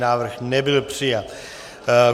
Návrh nebyl přijat.